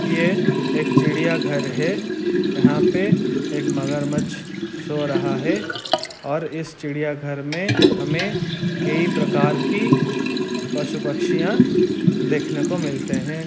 ये एक चिड़िया घर हैं यहाँ पे एक मगरमच्छ सो रहा हैं और इस चिड़िया घर में हमे कई प्रकार की पशु पक्षियां देखने को मिलते हैं।